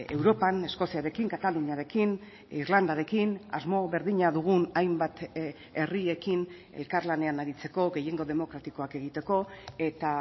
europan eskoziarekin kataluniarekin irlandarekin asmo berdina dugun hainbat herriekin elkarlanean aritzeko gehiengo demokratikoak egiteko eta